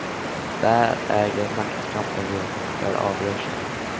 Där äger maktkampen rum, där avgörs den.